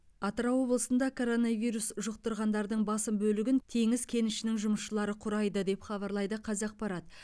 атырау облысында коронавирус жұқтырғандардың басым бөлігін теңіз кенішінің жұмысшылары құрайды деп хабарлайды қазақпарат